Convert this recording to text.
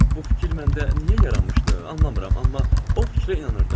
Bu fikir məndə niyə yaranmışdı, anlamıram, amma o fikrə inanırdım.